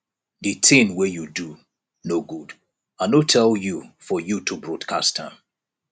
the thing wey you do no good i no tell you for you to broadcast am